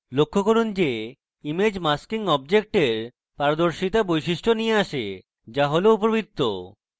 লক্ষ্য করুন যে image masking অবজেক্টের পারদর্শিতা বৈশিষ্ট্য নিয়ে আসে যা হল উপবৃত্ত